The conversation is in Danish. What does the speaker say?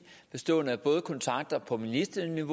at ministeren er